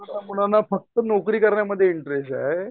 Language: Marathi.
कोकणातल्या मुलांना फक्त नोकरी करण्यामध्ये इंटरेस्ट आहे.